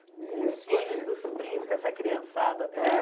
Com os filhos dos sobrinhos, com essa criançada toda?